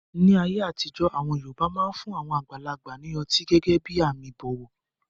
Ní ayé àtijọ́, àwọn yoòbá máa fun àwọn àgbàlagbà ní ọtí gẹ́gẹ́ bí àmì ìbọ̀wọ̀